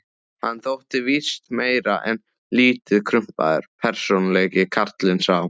Hann þótti víst meir en lítið krumpaður persónuleiki, karlinn sá.